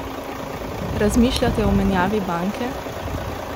Razmišljate o menjavi banke?